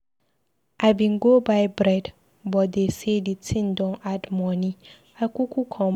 I bin go buy bread but dey sey di tin don add moni, I kuku come back.